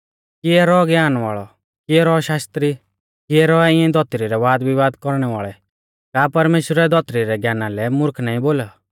किऐ रौ ज्ञान वाल़ौ किऐ रौ शास्त्री किऐ रौऐ इऐं धौतरी रै वादविवाद कौरणै वाल़ै का परमेश्‍वरै धौतरी रै ज्ञाना लै मुर्ख नाईं बोलौ